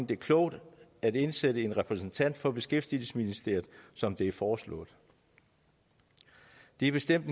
det er klogt at indsætte en repræsentant for beskæftigelsesministeriet som det foreslås det er bestemt